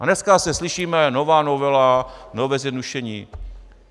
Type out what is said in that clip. A dneska zase slyšíme "nová novela, nové zjednodušení".